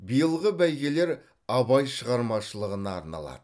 биылғы бәйгелер абай шығармашылығына арналады